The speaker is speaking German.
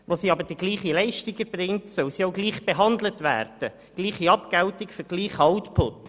Wo sie aber die gleiche Leistung erbringt, soll sie auch gleich behandelt werden im Sinne von gleicher Abgeltung für gleichen Output.